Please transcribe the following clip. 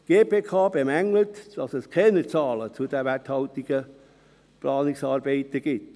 Die GKP bemängelt, dass es keine Zahlen zu den werthaltigen Planungsarbeiten gibt.